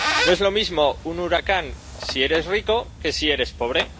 No es lo mismo un huracán si eres rico que si eres pobre